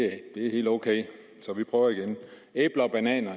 det er helt ok så vi prøver igen æbler og bananer